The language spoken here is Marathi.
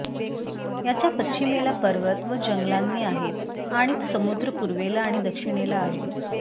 याच्या पश्चिमेला पर्वत व जंगलांनी आहेत आणि समुद्र पूर्वेला आणि दक्षिणेला आहे